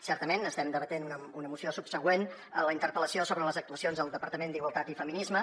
certament estem debatent una moció subsegüent a la interpel·lació sobre les actuacions del departament d’igualtat i feminismes